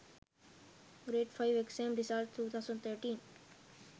grade 5 exam result 2013